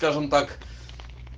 скажем так